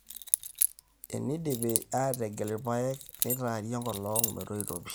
eneidipi aategel ipaek neitaari enkolong metoito pii